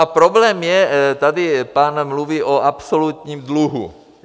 A problém je, tady pán mluví o absolutním dluhu.